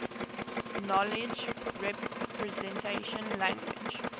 knowledge representation languages